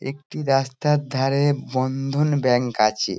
একটি রাস্তার ধারে বন্ধন ব্যাঙ্ক আছে।